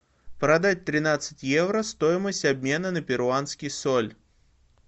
продать тринадцать евро стоимость обмена на перуанский соль